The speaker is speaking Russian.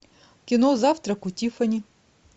кино завтрак у тиффани